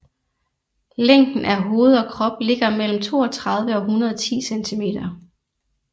Længden af hoved og krop ligger mellem 32 og 110 centimeter